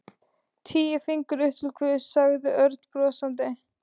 Tíu fingur upp til Guðs, sagði Örn brosandi.